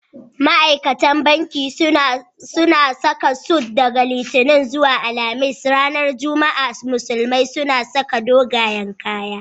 Ma'aikatan banki suna saka sut daga Litinin zuwa Alhamis. Amma ranar Juma'a musulmai suna sa dogayan kaya..